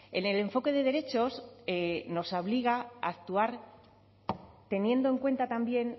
en el enfoque de derechos nos obliga a actuar teniendo en cuenta también